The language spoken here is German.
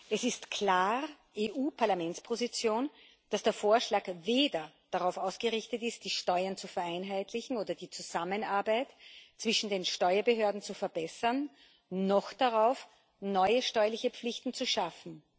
Es ist klar die Position des Europäischen Parlaments, dass der Vorschlag weder darauf ausgerichtet ist, die Steuern zu vereinheitlichen oder die Zusammenarbeit zwischen den Steuerbehörden zu verbessern, noch darauf, neue steuerliche Pflichten zu schaffen.